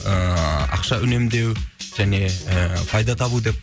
ііі ақша үнемдеу және ііі пайда табу деп